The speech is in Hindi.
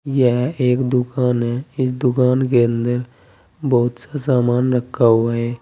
यह एक दुकान है इस दुकान के अंदर बहोत सा सामान रखा हुआ है।